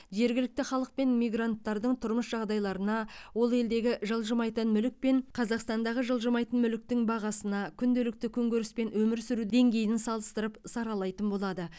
жергілікті халық пен мигранттардың тұрмыс жағдайларына ол елдегі жылжымайтын мүлік пен қазақстандағы жылжымайтын мүліктің бағасына күнделікті күнкөріс пен өмір сүру деңгейіне салыстырып саралайтын болады